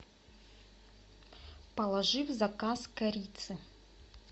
положи в заказ корицы